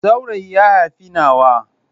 Saurayi ya haifi nawa.